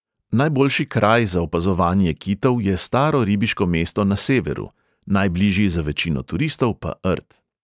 Najboljši kraj za opazovanje kitov je staro ribiško mesto na severu, najbližji za večino turistov pa rt.